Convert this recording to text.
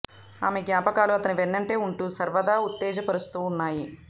ఆమె జ్ఞాపకాలు అతని వెన్నంటే వుంటూ సర్వదా ఉత్తేజ పరుస్తూ ఉన్నాయి